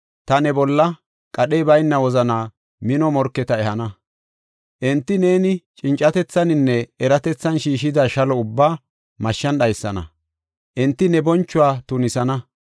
ta ne bolla qadhey bayna wozana mino morketa ehana; enti neeni cincatethaninne eratethan shiishida shalo ubbaa mashshan dhaysana; enti ne bonchuwa tunisana.